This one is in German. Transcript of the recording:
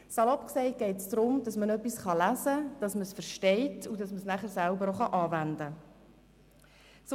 Salopp gesagt, geht es darum, dass man etwas lesen kann, dass man es versteht, und dass man das Gelesene danach auch anwenden kann.